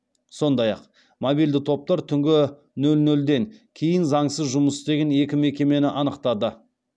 сондай ақ мобильді топтар түнгі нөл нөлден кейін заңсыз жұмыс істеген екі мекемені анықтады